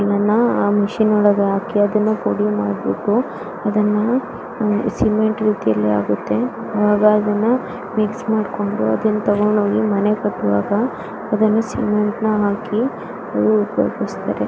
ಇದನ್ನ ಆ ಮಷೀನ್ ಒಳಗ ಹಾಕಿ ಪುಡಿ ಮಾಡ್ಬಿಟ್ಟು ಇದನ್ನ ಸಿಮೆಂಟ್ ರೀತಿಲಿ ಆಗುತ್ತೆ ಆಗ ಅದನ ಮಿಕ್ಸ್ ಮಾಡ್ಕೊಂಡು ತಗೊಂಡ್ ಹೋಗಿ ಮನೇನ ಕಟ್ಟುವಾಗ ಆ ಸಿಮೆಂಟ್ ಹಾಕಿ --